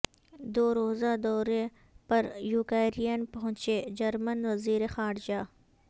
دو روزہ دورے پر یوکرائن پہنچے جرمن وزیر خارجہ